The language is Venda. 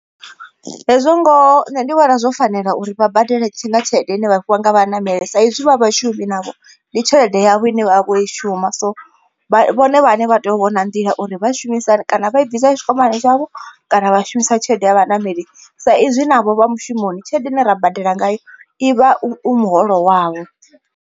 Hezwo ngoho nṋe ndi vhona zwo fanela uri vha badele nga tshelede ine vha fhiwa nga vhaṋameli saizwi vha vhashumi navho ndi tshelede yavho ine vha vho i shuma. So vhone vhaṋe vha tea u vhona nḓila uri vhashumisa hani kana vha i bvisa tshikwamani tshavho kana vha shumisa tshelede ya vhaṋameli. Sa izwi navho vha mushumoni tshelede ine ra badela ngayo ivha u muholo wavho.